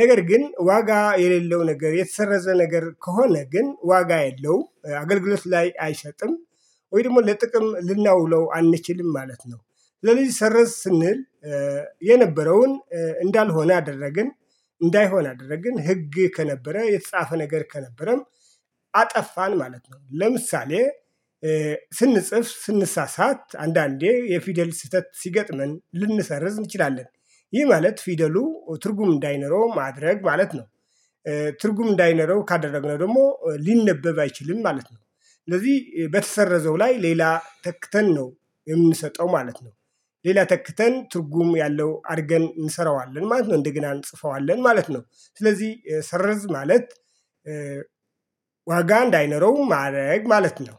ነገር ግን ዋጋ የሌለው ነገር የተሰረዘ ነገር ከሆነ ግን ዋጋ የለውም አገልግሎት ላይ አይሰጥም ወይ ደሞ ለጥቅም ልናውለው አንችልም ማለት ነው። ለሊ ሰረዝ ስንል። የነበረውን እንዳልሆነ አደረግን እንዳይሆን አደረግን ህግ ከነበረ የተጻፈ ነገር ከነበረም አጠፋን ማለት ነው። ለምሳሌ ስንጽፍ ስንሳሳት አንዳንዴ የፊደል ስህተት ሲገጥመን ልንሰርዝ እንችላለን። ይህ ማለት ፊደሉ ትርጉም እንዳይኖረው ማድረግ ማለት ነው። ትርጉም እንዳይኖረው ካደረግነው ደሞ ሊነበብ አይችልም ማለት ነው። ስለዚ በተሰረዘው ላይ ሌላ ተክተን ነው የምንሰጠው ማለት ነው። ሌላ ተክተን ትርጉም ያለው አርገን እንሰራዋለን ማለት ነው እንደገና እንጽፈዋለን ማለት ነው። ስለዚ ሰረዝ ማለት ዋጋ እንዳይኖረው ማረግ ማለት ነው።